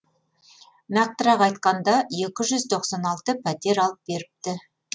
нақтырақ айтқанда екі жүз тоқсан алты пәтер алып беріпті